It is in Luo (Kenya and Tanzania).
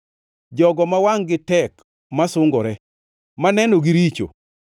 jogo ma wangʼ-gi tek masungore, manenogi richo;